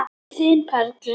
Þín Perla.